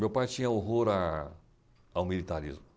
Meu pai tinha horror a ao militarismo.